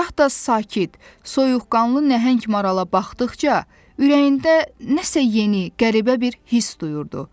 gah da sakit, soyuqqanlı nəhəng marala baxdıqca, ürəyində nəsə yeni, qəribə bir hiss duyurdu.